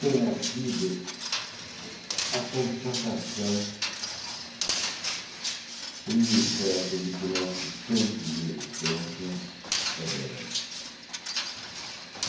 tenha sido a constatação fria e certa de que o nosso tempo de existência é breve.